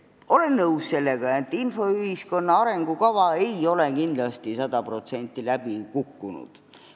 Olen nõus sellega, et infoühiskonna arengukava ei ole kindlasti sada protsenti läbi kukkunud.